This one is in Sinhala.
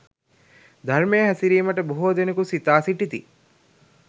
ධර්මයේ හැසිරීමට බොහෝ දෙනෙකු සිතා සිටිති.